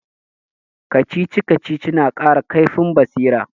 Kacici-kacici na kara kaifin basira